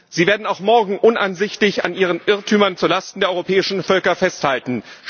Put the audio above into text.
Sie werden auch morgen uneinsichtig an Ihren Irrtümern zu Lasten der europäischen Völker festhalten.